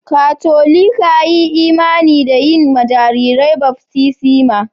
Katolika yi imani da yin ma jarirai baftisma.